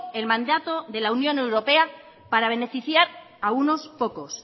el mandato de la unión europea para beneficiar a unos pocos